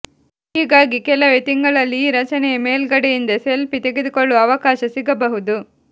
ಹೀಗಾಗಿ ಕೆಲವೇ ತಿಂಗಳಲ್ಲಿ ಈ ರಚನೆಯ ಮೇಲ್ಗಡೆಯಿಂದ ಸೆಲ್ಫೀ ತೆಗೆದುಕೊಳ್ಳುವ ಅವಕಾಶ ಸಿಗಬಹುದು